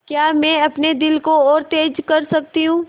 क्या मैं अपने दिल को और तेज़ कर सकती हूँ